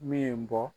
Min bɔ